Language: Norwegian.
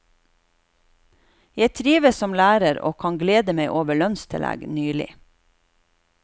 Jeg trives som lærer og kan glede meg over lønnstillegg nylig.